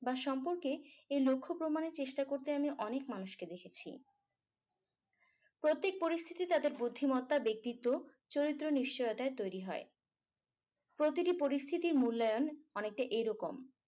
বা সম্পর্কে এই লক্ষ্য প্রমানে চেষ্টা করতে আমি অনেক মানুষকে দেখেছি প্রত্যেক পরিস্থিতি তাদের বুদ্ধিমত্তা ব্যক্তিত্ব চরিত্র নিশ্চয়তায় তৈরী হয় প্রতিটি পরিস্থিতি মূল্যায়ন অনেকটা এরকম